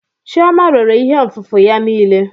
Chioma rere ihe nfụfu ya niile.